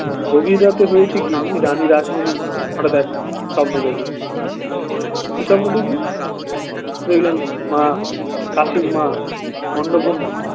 গভীর রাতে হয়েছে কি রানী রাসমণি হঠাৎ এক স্বপ্ন দেখলো কি স্বপ্ন দেখলে দেখলেন মা কাসিমা অন্নপূর্ণা